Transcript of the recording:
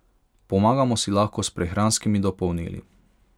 Pomagamo si lahko s prehranskimi dopolnili.